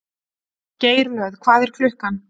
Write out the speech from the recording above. Geirlöð, hvað er klukkan?